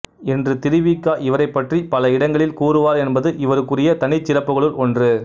என்று திரு வி க இவரைப் பற்றி பல இடங்களில் கூறுவார் என்பது இவருக்குரிய தனிச்சிறப்புகளில் ஒன்று